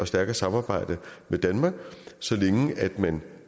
stærkere samarbejde med danmark så længe man